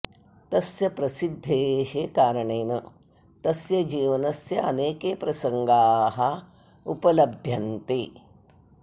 तस्य प्रसिद्धेः कारणेन तस्य जीवनस्य अनेके प्रसङ्गाः उपलभ्यन्ते